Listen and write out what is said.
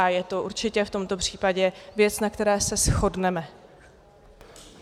A je to určitě v tomto případě věc, na které se shodneme.